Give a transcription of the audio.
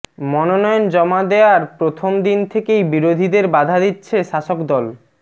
মনোনয়ন জমা দেওয়ার প্রথম দিন থেকেই বিরোধীদের বাধা দিচ্ছে শাসকদল